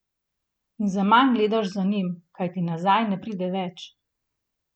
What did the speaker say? In zaman gledaš za njim, kajti nazaj ne pride več.